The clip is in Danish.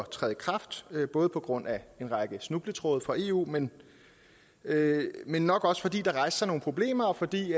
træde i kraft både på grund af en række snubletråde fra eu men men nok også fordi der rejste sig nogle problemer og fordi